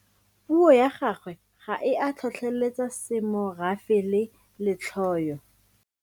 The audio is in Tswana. Puo ya gagwe ga e a tlhotlheletsa semorafe le letlhoyo.